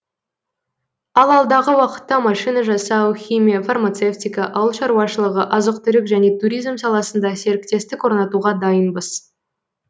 ал алдағы уақытта машина жасау химия фармацевтика ауылшаруашылығы азық түлік және туризм саласында серіктестік орнатуға дайынбыз